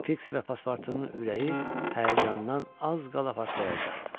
Fiks və paspartunun ürəyi həyəcandan az qala partlayacaqdı.